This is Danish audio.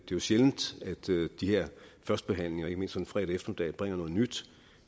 jo sjældent at de her førstebehandlinger ikke mindst sådan en fredag eftermiddag bringer noget nyt